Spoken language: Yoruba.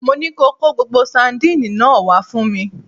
Mo ní ko Kó gbogbo sandínì náà wá fún mi!